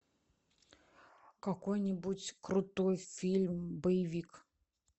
какой нибудь крутой фильм боевик